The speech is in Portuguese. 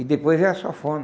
E depois veio a sanfona.